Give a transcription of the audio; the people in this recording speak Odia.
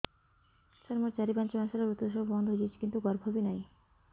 ସାର ମୋର ଚାରି ପାଞ୍ଚ ମାସ ହେଲା ଋତୁସ୍ରାବ ବନ୍ଦ ହେଇଯାଇଛି କିନ୍ତୁ ଗର୍ଭ ବି ନାହିଁ